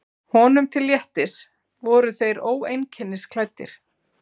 Honum til léttis voru þeir óeinkennisklæddir.